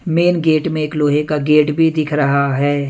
Main gate में एक लोहे का गेट भी दिख रहा है।